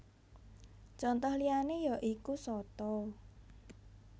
Conto liyané ya iku soto